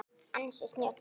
Ansi snjöll!